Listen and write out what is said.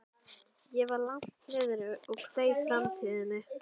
Ég var langt niðri og kveið framtíðinni.